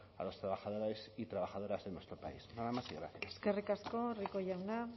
a los trabajadores y trabajadoras en nuestro país nada más y gracias eskerrik asko rico jauna